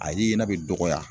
A ye ɲɛna bɛ dɔgɔya